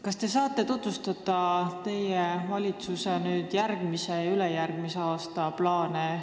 Kas te saate tutvustada teie valitsuse järgmise ja ülejärgmise aasta plaane?